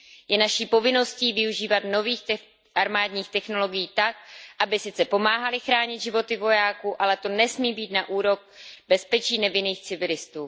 Je naší povinností využívat nových armádních technologií tak, aby sice pomáhaly chránit životy vojáků, ale to nesmí být na úkor bezpečí nevinných civilistů.